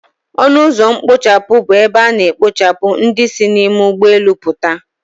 Ọnụ ụzọ mkpochapụ bụ ebe a na-ekpochapụ ndị si n'ime ụgbọelu puta